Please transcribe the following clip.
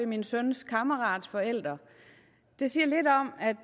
min søns kammerats forældre det siger lidt om at